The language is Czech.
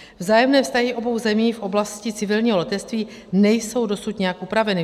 Vzájemné vztahy obou zemí v oblasti civilního letectví nejsou dosud nijak upraveny.